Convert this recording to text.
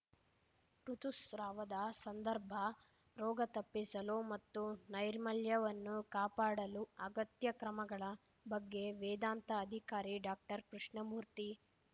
ಋುತುಸ್ರಾವದ ಸಂದರ್ಭ ರೋಗ ತಪ್ಪಿಸಲು ಮತ್ತು ನೈರ್ಮಲ್ಯವನ್ನು ಕಾಪಾಡಲು ಅಗತ್ಯ ಕ್ರಮಗಳ ಬಗ್ಗೆ ವೇದಾಂತ ಅಧಿಕಾರಿ ಡಾಕ್ಟರ್ ಕೃಷ್ಣಮೂರ್ತಿ